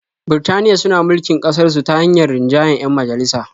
Birtaniya suna mulkin ƙasarsu ta hanyar rinjayen 'yan majalisa.